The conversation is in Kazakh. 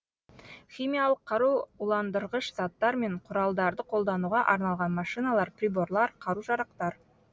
химиялық қару уландырғыш заттар мен құралдарды қолдануға арналған машиналар приборлар қару жарақтар